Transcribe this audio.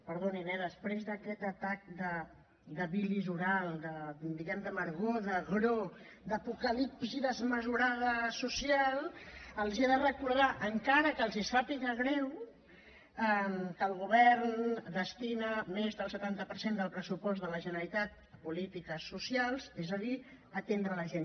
perdonin eh després d’aquest atac de bilis oral diguem ne d’amargor d’agror d’apocalipsi desmesurada social els he de recordar encara que els sàpiga greu que el govern destina més del setanta per cent del pressupost de la generalitat a polítiques socials és a dir a atendre la gent